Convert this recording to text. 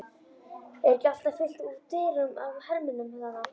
Er ekki alltaf fullt út úr dyrum af hermönnum þarna?